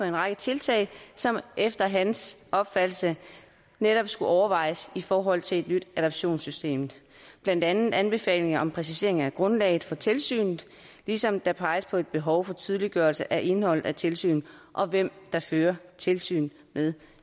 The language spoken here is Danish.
en række tiltag som efter hans opfattelse netop skulle overvejes i forhold til et nyt adoptionssystem blandt andet anbefalinger om præciseringer i grundlaget for tilsynet ligesom der peges på et behov for tydeliggørelse af indholdet af tilsyn og hvem der fører tilsyn med